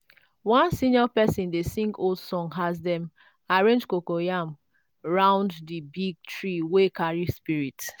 one senior person dey sing old song as dem arrange coco yam round the big tree wey carry spirit.